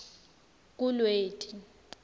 kulweti